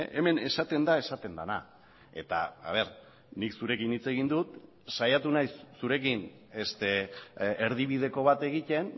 hemen esaten da esaten dena eta nik zurekin hitz egin dut saiatu naiz zurekin erdibideko bat egiten